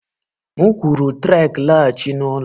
M kwuru Trek laghachi n'ụlọ!